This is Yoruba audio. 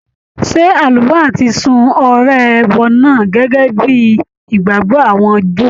Ṣé Àlùfáà ti sun ọrẹ ẹbọ náà gẹ́gẹ́ bíi ìgbàgbọ́ àwọn Júù?